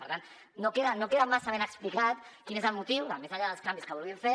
per tant no queda massa ben explicat quin és el motiu més enllà dels canvis que vulguin fer